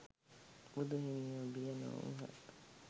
බුදු හිමියෝ බිය නොවූහ.